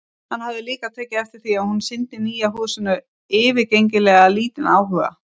Hann hafði líka tekið eftir því að hún sýndi nýja húsinu yfirgengilega lítinn áhuga.